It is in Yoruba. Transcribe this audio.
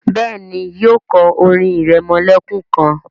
béèni, yíò kò orin iremolekun kán.